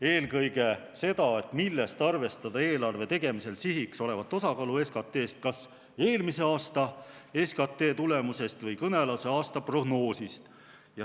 Eelkõige seda, millest arvestada eelarve tegemisel sihiks olevat osakaalu SKT-st, kas eelmise aasta SKT tulemusest või kõnealuse aasta prognoosist.